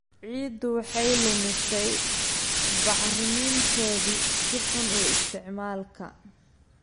Ciiddu waxay lumisay bacriminteedii si xun u isticmaalka.